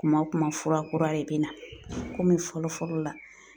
Kuma o kuma fura kura de be na komi fɔlɔ-fɔlɔ la